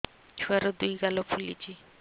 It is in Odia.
ଛୁଆର୍ ଦୁଇ ଗାଲ ଫୁଲିଚି